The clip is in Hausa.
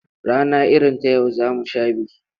Rana irin ta yau za mu sha biki.